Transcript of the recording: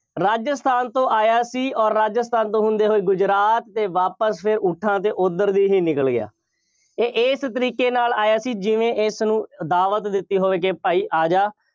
ਰਾਜਸਥਾਨ ਤੋਂ ਆਇਆ ਸੀ ਅੋਰ ਰਾਜਸਥਾਨ ਤੋਂ ਹੁੰਦੇ ਹੋਏ ਗੁਜਰਾਤ ਅਤੇ ਵਾਪਿਸ ਫੇਰ ਊਠਾਂ 'ਤੇ ਉੱਧਰ ਦੀ ਹੀ ਨਿਕਲ ਗਿਆ। ਇਹ ਇਸ ਤਰੀਕੇ ਨਾਲ ਆਇਆ ਸੀ ਜਿਵੇਂ ਇਸਨੂੰ ਦਾਵਤ ਦਿੱਤੀ ਹੋਵੇ ਕਿ ਭਾਈ ਆ ਜਾ,